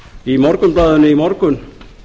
í morgunblaðinu í morgun